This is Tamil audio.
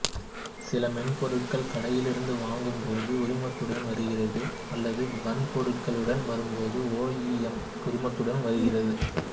சில மென்பொருட்கள் கடையிலிருந்து வாங்கும்போது உரிமத்துடன் வருகிறது அல்லது வன்பொருளுடன் வரும்போது ஓஇஎம் உரிமத்துடன் வருகிறது